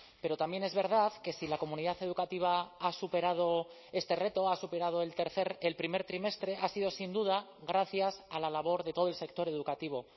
pero también es verdad que si la comunidad educativa ha superado este reto ha superado el tercer el primer trimestre ha sido sin duda gracias a la labor de todo el sector educativo